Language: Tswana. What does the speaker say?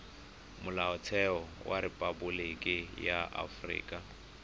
molaotlhomo wa rephaboliki ya aforika